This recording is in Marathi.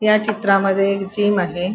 ह्या चित्रामध्ये एक जीम आहे.